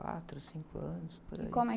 Quatro, cinco anos, por aí. como é?